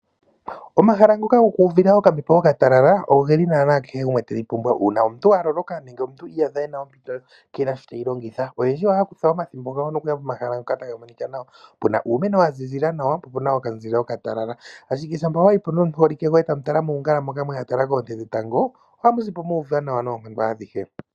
Omahala ngoka gokwiiyuvitha okambepo ka talala ogeli naana kehe omuntu tega pumbwa uuna omuntu wa loloka nenge omuntu ti iyadha ena ompito keena sho teyi longitha. Oyendji ohaya kutha ethimbo okuya komahala ngoka taga monika nawa puna uumeno wa ziza nawa, po puna okanzile oka talala, ashike shampa wa yi po nomuholike goye tamu tala muungala moka mwa tala koonte dhetango ohamu zi po muuva nawa noonkondo adhihe.